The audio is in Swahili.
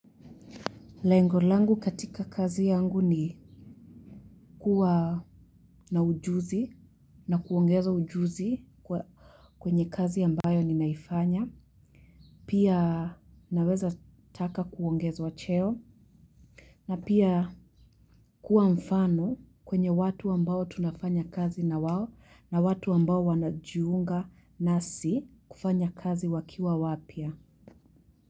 Lengo langu katika kazi yangu ni kuwa na ujuzi na kuongeza ujuzi kwenye kazi ambayo ninaifanya. Pia naweza taka kuongezwa cheo na pia kuwa mfano kwenye watu ambao tunafanya kazi na wao na watu ambao wanajiunga nasi kufanya kazi wakiwa wapya.